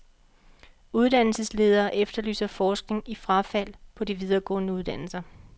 Uddannelsesledere efterlyser forskning i frafald på de videregående uddannelser.